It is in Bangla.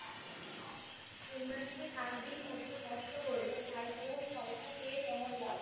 তোমরা যে সারাদিন কষ্ট করলে তারপরে ফল টা পেয়ে কেমন লাগলো